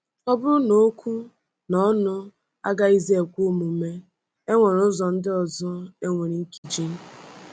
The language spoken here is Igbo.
Ọ bụrụ na okwu na ọnụ agaghịzi ekwe omume, e nwere ụzọ ndị ọzọ e nwere ike iji.